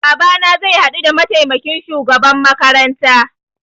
Babana zai haɗu da mataimakin shugaban makaranta